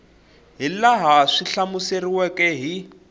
hi laha swi hlamuseriweke hi